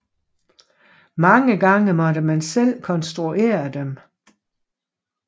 Mange gange måtte man selv konstruere dem